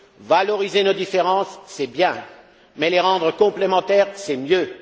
Valoriser nos différences, c'est bien, mais les rendre complémentaires, c'est mieux!